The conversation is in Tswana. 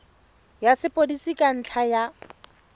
ya sepodisi ka ntlha ya